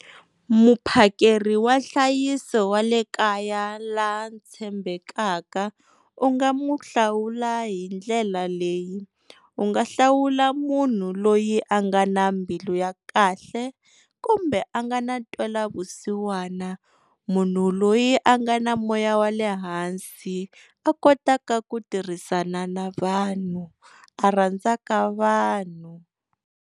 Muphakeri wa nhlayiso wa le kaya la tshembekaka u nga mu hlawula hi ndlela leyi, u nga hlawula munhu loyi a nga na mbilu ya kahle kumbe a nga na ntwela vusiwana, munhu loyi a nga na moya wale hansi a kotaka ku tirhisana na vanhu a rhandzaka vanhu.